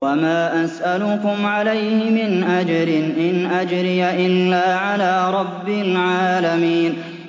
وَمَا أَسْأَلُكُمْ عَلَيْهِ مِنْ أَجْرٍ ۖ إِنْ أَجْرِيَ إِلَّا عَلَىٰ رَبِّ الْعَالَمِينَ